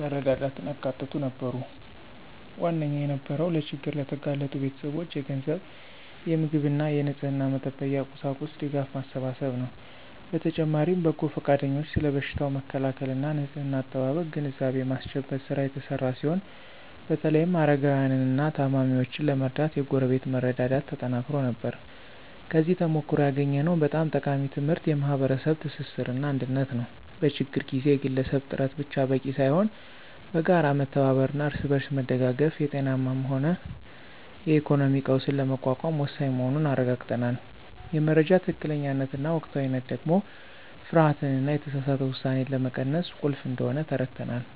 መረዳዳትን ያካተቱ ነበሩ። ዋነኛው የነበረው ለችግር ለተጋለጡ ቤተሰቦች የገንዘብ፣ የምግብና የንጽሕና መጠበቂያ ቁሳቁስ ድጋፍ ማሰባሰብ ነው። በተጨማሪም በጎ ፈቃደኞች ስለ በሽታው መከላከልና ንጽሕና አጠባበቅ ግንዛቤ የማስጨበጥ ሥራ የተሰራ ሲሆን በተለይም አረጋውያንንና ታማሚዎችን ለመርዳት የጎረቤት መረዳዳት ተጠናክሮ ነበር። ከዚህ ተሞክሮ ያገኘነው በጣም ጠቃሚ ትምህርት የማኅበረሰብ ትስስርና አንድነት ነው። በችግር ጊዜ የግለሰብ ጥረት ብቻ በቂ ሳይሆን በጋራ መተባበርና እርስ በርስ መደጋገፍ የጤናም ሆነ የኢኮኖሚ ቀውስን ለመቋቋም ወሳኝ መሆኑን አረጋግጠናል። የመረጃ ትክክለኛነትና ወቅታዊነት ደግሞ ፍርሃትንና የተሳሳተ ውሳኔን ለመቀነስ ቁልፍ እንደሆነ ተረድተናል።